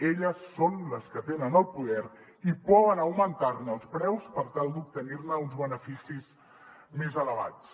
elles són les que tenen el poder i poden augmentar ne els preus per tal d’obtenir ne uns beneficis més elevats